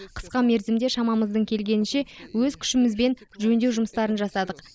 қысқа мерзімде шамамыздың келгенінше өз күшімізбен жөндеу жұмыстарын жасадық